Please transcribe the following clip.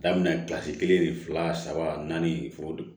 Daminɛ kelen ni fila saba naani foronto don